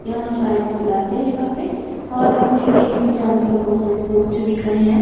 यहां शायद सिलाते हैं कपड़े और मुझे इसके चारों तरफ बहुत से पोस्टर दिख रहे हैं।